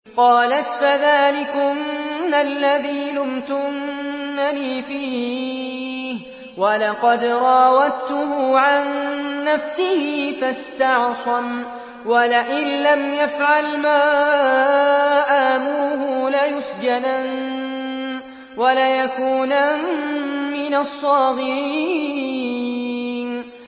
قَالَتْ فَذَٰلِكُنَّ الَّذِي لُمْتُنَّنِي فِيهِ ۖ وَلَقَدْ رَاوَدتُّهُ عَن نَّفْسِهِ فَاسْتَعْصَمَ ۖ وَلَئِن لَّمْ يَفْعَلْ مَا آمُرُهُ لَيُسْجَنَنَّ وَلَيَكُونًا مِّنَ الصَّاغِرِينَ